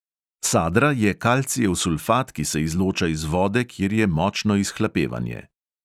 Sadra je kalcijev sulfat, ki se izloča iz vode, kjer je močno izhlapevanje.